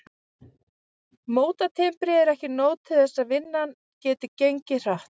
Mótatimbrið er ekki nóg til þess að vinnan geti gengið hratt.